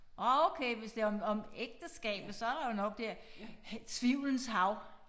Nåh okay hvis det om om ægteskab så der jo nok dér tvivlens hav